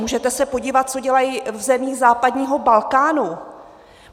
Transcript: Můžete se podívat, co dělají v zemích západního Balkánu.